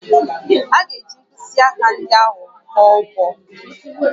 A ga-eji mkpịsị aka ndị ahụ kpọọ ụbọ